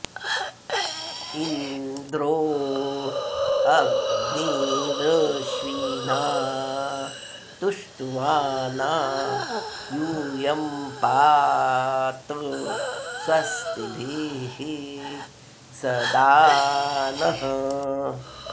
इन्द्रो॑ अ॒ग्निर॒श्विना॑ तुष्टुवा॒ना यू॒यं पा॑त स्व॒स्तिभिः॒ सदा॑ नः